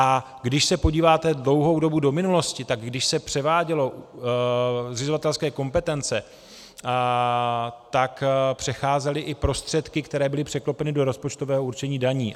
A když se podíváte dlouhou dobu do minulosti, tak když se převáděly zřizovatelské kompetence, tak přecházely i prostředky, které byly překlopeny do rozpočtového určení daní.